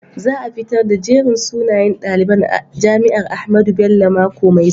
Za a fitar da jerin sunayen daliban jami'ar Ahmadu Bello a mako mai zuwa.